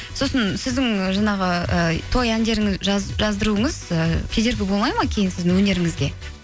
сосын сіздің жаңағы ы той әндерін жаздыруыңыз ы кедергі болмайды ма кейін сіздің өнеріңізге